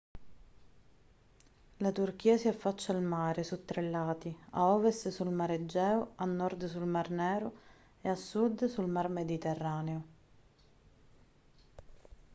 la turchia si affaccia al mare su tre lati a ovest sul mar egeo a nord sul mar nero e a sud sul mar mediterraneo